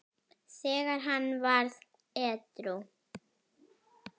þegar hann varð edrú.